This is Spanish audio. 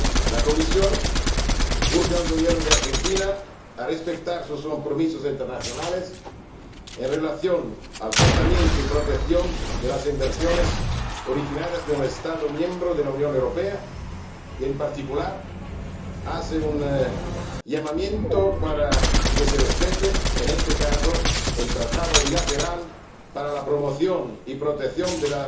La Comisión urge al Gobierno de Argentina a que respete sus compromisos internacionales en relación con el tratamiento y la protección de las inversiones originarias de un Estado miembro de la Unión Europea y, en particular, hace un llamamiento para que se respete, en este caso, el Tratado bilateral para la promoción y la protección de